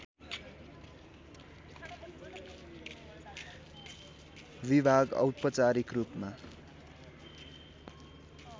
विभाग औपचारिक रूपमा